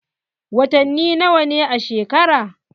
Watani nawa ne a shekara?